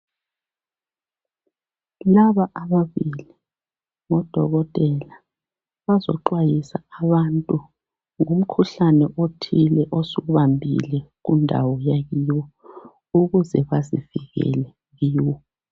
Laba ababili ngodokotela. Bazexwayisa abantu ngomkhuhlane othile osubandile kundawo le, ukuze basivikele kuwo.